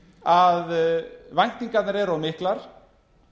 að væntingarnar eru of miklar